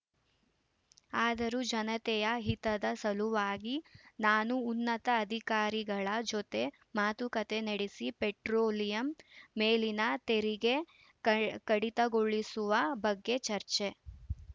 ಆದರೂ ಜನತೆಯ ಹಿತದ ಸಲುವಾಗಿ ನಾನು ಉನ್ನತ ಅಧಿಕಾರಿಗಳ ಜೊತೆ ಮಾತುಕತೆ ನಡೆಸಿ ಪೆಟ್ರೋಲಿಯಂ ಮೇಲಿನ ತೆರಿಗೆ ಕ ಕಡಿತಗೊಳಿಸುವ ಬಗ್ಗೆ ಚರ್ಚೆ